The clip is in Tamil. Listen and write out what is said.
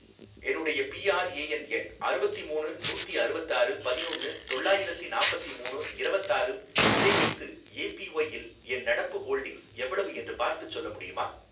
என்னுடைய பிஆர்ஏஎன் எண் அறுவத்திமூணு நூத்தி அறுவத்தாறு பதினொன்னு தொள்ளாயிரத்தி நாப்பத்தி மூணு இரவத்தாறு, இதை வைத்து ஏபிஒய் இல் என் நடப்பு ஹோல்டிங்ஸ் எவ்வளவு என்று பார்த்துச் சொல்ல முடியுமா?